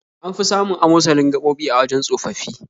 An fi samun amosalin gaɓoɓi a wajen tsofaffi